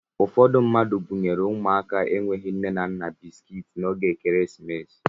Ụfọdụ mmadụ bunyere ụmụaka enweghị nne na nna bisikiiti n'oge ekeresimesi